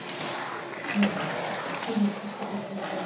Mynd: Hið íslenska Biblíufélag